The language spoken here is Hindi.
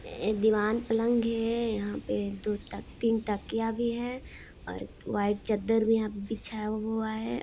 एक दीवान पलंग है यहाँ पे दो तीन तकिया भी है और वाइट चद्दर भी है यहाँ पर बिछाया हुआ है।